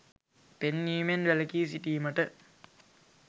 පෙන්වීමෙන් වැළැකී සිටීමට